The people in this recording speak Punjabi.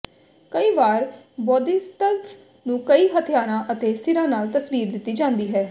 ਕਈ ਵਾਰ ਬੌਧਿਸਤਵ ਨੂੰ ਕਈ ਹਥਿਆਰਾਂ ਅਤੇ ਸਿਰਾਂ ਨਾਲ ਤਸਵੀਰ ਦਿੱਤੀ ਜਾਂਦੀ ਹੈ